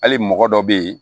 Hali mɔgɔ dɔ be yen